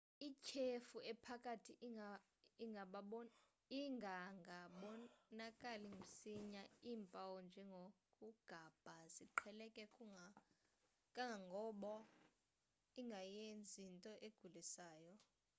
ityhefu engaphakathi ingangabonakali msinya iimpawu njengokugabha ziqheleke kangangoba ingayenyinto egulisayo